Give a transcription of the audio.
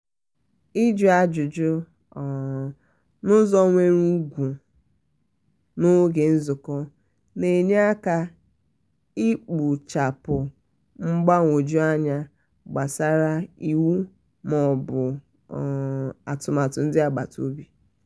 ijụ ajụjụ um n'ụzọ nwere ùgwù um n'oge nzụkọ na-enyere aka ikpochapụ mgbagwoju anya gbasara iwu ma ọ bụ atụmatụ ndị agbata obi.